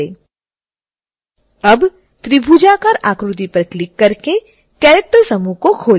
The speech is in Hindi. अब त्रिभुजाकार आकृति पर क्लिक करके character समूह को खोलें